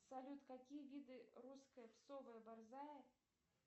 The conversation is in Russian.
салют какие виды русская псовая борзая